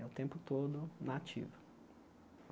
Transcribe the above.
É o tempo todo na ativa.